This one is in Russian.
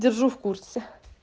держу в курсе